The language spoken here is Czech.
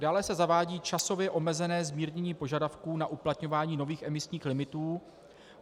Dále se zavádí časově omezené zmírnění požadavků na uplatňování nových emisních limitů.